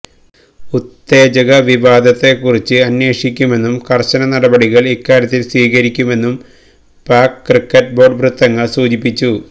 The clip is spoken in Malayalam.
ഉത്തേജക വിവാദത്തെക്കുറിച്ച് അന്വേഷിയ്ക്കുമെന്നും കര്ശന നടപടികള് ഇക്കാര്യത്തില് സ്വീകരിയ്ക്കുമെന്നും പാക് ക്രിക്കറ്റ് ബോര്ഡ് വൃത്തങ്ങള് സൂചിപ്പിച്ചു